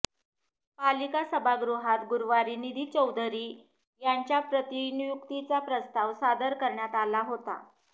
पालिका सभागृहात गुरुवारी निधी चौधरी यांच्या प्रतिनियुक्तीचा प्रस्ताव सादर करण्यात आला होता